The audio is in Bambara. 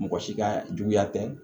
Mɔgɔ si ka juguya tɛ